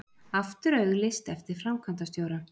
Aftur auglýst eftir framkvæmdastjóra